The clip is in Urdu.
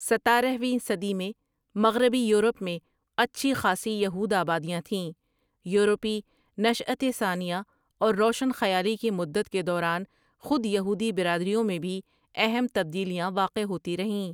ستارہ ویں صدی میں مغربی یورپ میں اچھی خاصی یہود آبادیاں تھیں یورپی نشاۃ ثانیہ اور روشن خیالی کی مدت کے دوران خود یہودی برادریوں میں بھی اہم تبدیلیاں واقع ہوتی رہیں ۔